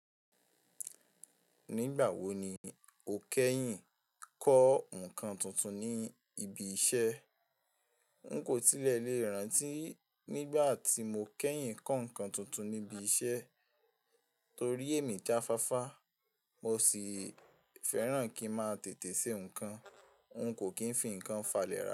Nígbà wo ni o kẹ́yìn kọ́ nǹkan tuntun ní ibi iṣẹ́? N kò tilẹ̀ lè rántí nígbà tí mo kẹ́yìn kọ́ nǹkan tuntun ní ibi iṣẹ́ torí èmi jáfáfá, mo sì fẹ́ràn kí mo máa tètè ṣe nǹkan. N kò kí ń fi nǹkan falẹ̀ ra.